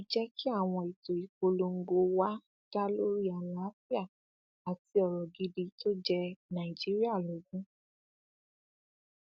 ẹ jẹ kí àwọn ètò ìpolongo wa dá lórí àlàáfíà àti ọrọ gidi tó jẹ nàìjíríà lógún